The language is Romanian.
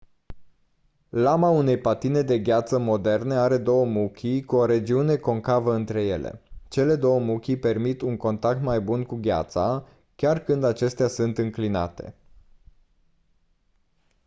lama unei patine de gheață moderne are două muchii cu o regiune concavă între ele cele 2 muchii permit un contact mai bun cu gheața chiar când acestea sunt înclinate